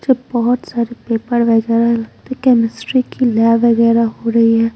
जब बहुत सारे पेपर वगैरह केमिस्ट्री की लैब वगैरह हो रही हैं ।